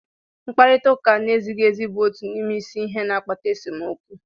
Mkparịta ụka na-ezighị ezi bụ otu n'ime isi ihe na-akpata esemokwu